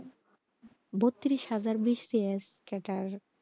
বত্তিরিশ হাজার bcs cadder,